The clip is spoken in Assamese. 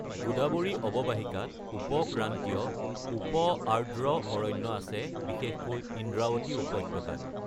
গোদাৱৰী অৱবাহিকাত উপ-ক্ৰান্তীয়, উপ-আৰ্দ্ৰ অৰণ্য আছে, বিশেষকৈ ইন্দ্ৰাৱতী উপত্যকাত।